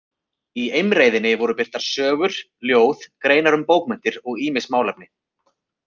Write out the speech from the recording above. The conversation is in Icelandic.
Í Eimreiðinni voru birtar sögur, ljóð, greinar um bókmenntir og ýmis málefni.